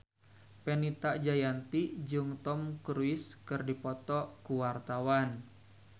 Fenita Jayanti jeung Tom Cruise keur dipoto ku wartawan